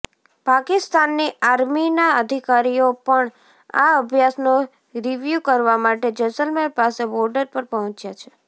પાકિસ્તાનની આર્મીના અધિકારીઓ પણ આ અભ્યાસનો રિવ્યૂ કરવા માટે જેસલમેર પાસે બોર્ડર પર પહોંચ્યા છે